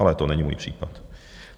Ale to není můj případ.